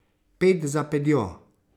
Ped za pedjo.